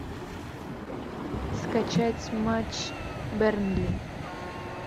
скачать матч бернли